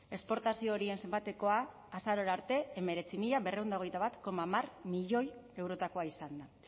esportazio horien zenbatekoa azarora arte hemeretzi mila berrehun eta hogeita bat koma hamar milioi eurotakoa izan da